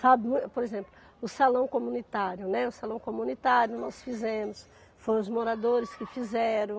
Sabe, por exemplo, o salão comunitário, né, o salão comunitário nós fizemos, foram os moradores que fizeram.